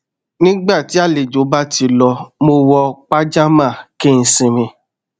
nígbà tí àlejò bá ti lọ mo wọ pajamá kí n sinmi